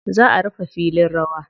Za a rufe filin rawa.